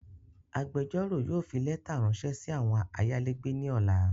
Agbẹjọ́rò yóò fi lẹ́ta ráńṣẹ́ sí àwọn ayálégbé ní ọ̀la